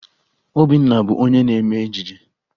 Obinna bụ onye na-eme ejije